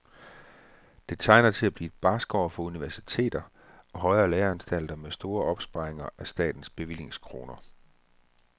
Det tegner til at blive et barskt år for universiteter og højere læreanstalter med store opsparinger af statens bevillingskroner.